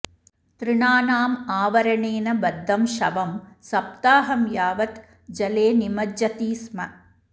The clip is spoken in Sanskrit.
तृणानाम् आवरणेन बद्धं शवं सप्ताहं यावत् जले निमज्जति स्म